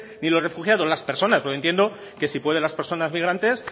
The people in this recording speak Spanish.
ni los refugiados las personas yo entiendo que si pueden las personas migrantes